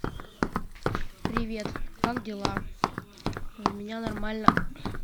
привет как дела у меня нормально